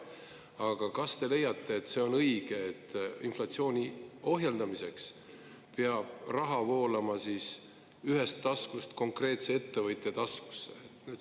Aga kas te leiate, et see on õige, et inflatsiooni ohjeldamiseks peab raha voolama konkreetse ettevõtja taskusse?